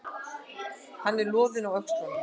Hann er loðinn á öxlunum.